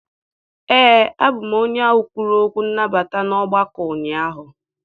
Ee, abụ m onye ahụ kwuru okwu nnabata na ogbako ahụ ụnyaahụ.